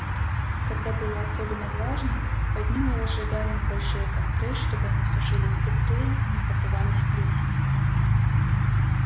когда было особенно влажно под ними разжигали небольшие костры чтобы они сушились быстрее и не покрывались плесенью